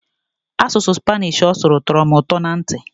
Asụsụ Spanish ọ sụrụ tọrọ m ụtọ na ntị.